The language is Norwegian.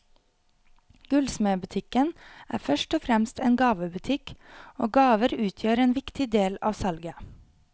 Gullsmedbutikken er først og fremst en gavebutikk, og gaver utgjør en viktig del av salget.